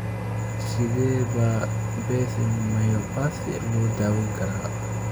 Sidee baa Bethlem myopathy loo daweyn karaa?